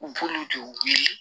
U b'olu de wele